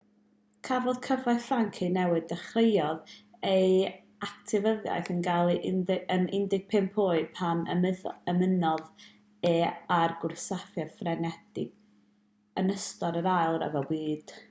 cafodd cyfraith ffrainc ei newid dechreuodd ei actifyddiaeth yn ôl yn 15 oed pan ymunodd e â'r gwrthsafiad ffrengig yn ystod yr ail ryfel byd